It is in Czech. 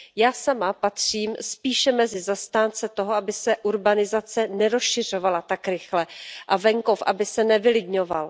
Já sama patřím spíše mezi zastánce toho, aby se urbanizace nerozšiřovala tak rychle a venkov aby se nevylidňoval.